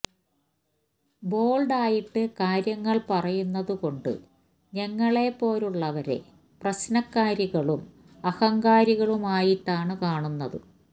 bold ആയിട്ട് കാര്യങ്ങള് പറയുന്നത് കൊണ്ട് ഞങ്ങളെപ്പോലുള്ളവരെ പ്രശ്നക്കാരികളും അഹങ്കാരികളുമായിട്ടാണ് കാണുന്നത്